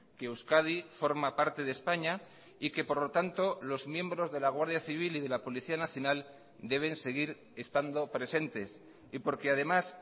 que euskadi forma parte de españa y que por lo tanto los miembros de la guardia civil y de la policía nacional deben seguir estando presentes y porque además